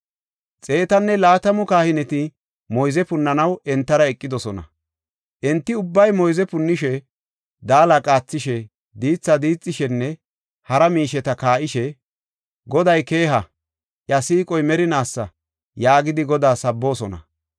Xeetanne laatamu kahineti moyze punnanaw entara eqidosona. Enti ubbay moyze punnishe, daala qaathishe, diithi diixishenne hara miisheta kaa7ishe, “Goday keeha! iya siiqoy merinaasa” yaagidi Godaa sabboosona.